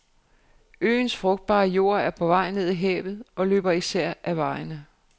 Øens frugtbare jord er på vej ned i havet og løber især ad vejene.